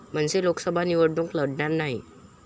मनसे लोकसभा निवडणूक लढणार नाही